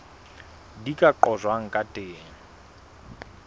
di ka qojwang ka teng